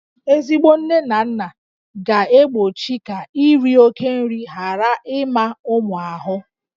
Ezigbo nne na nna na-egbochi ka iri oke nri ghara ịma ụmụ ahụ